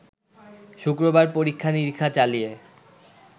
শুক্রবার পরীক্ষা-নিরীক্ষা চালিয়ে